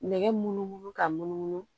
Nɛgɛ munumunu ka munumunu